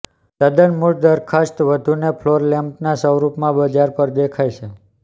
તદ્દન મૂળ દરખાસ્ત વધુને ફ્લોર લેમ્પના સ્વરૂપમાં બજાર પર દેખાય છે